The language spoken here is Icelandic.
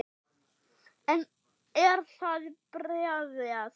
Er það bréfað?